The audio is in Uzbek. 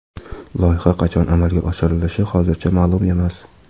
Loyiha qachon amalga oshirilishi hozircha ma’lum emas.